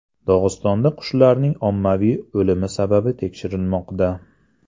Dog‘istonda qushlarning ommaviy o‘limi sababi tekshirilmoqda.